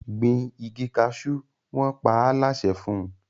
Gbìn ìgi cashew! wọn pa á láṣẹ fún